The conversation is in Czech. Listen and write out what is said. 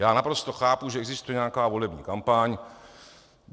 Já naprosto chápu, že existuje nějaká volební kampaň.